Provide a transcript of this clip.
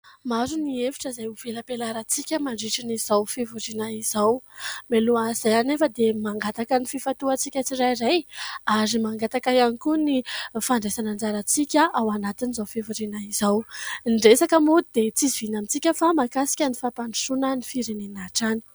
Maro ny hevitra izay ho velabelarantsika mandritra izao fivoriana izao. Mialohan'izay anefa dia mangataka ny fifantohantsika tsirairay ary mangataka ihany koa ny fandraisana anjarantsika ao anatin'izao fivoriana izao. Ny resaka moa dia tsy izoviana amintsika fa mahakasika ny fampandrosoana ny firenena hatrany.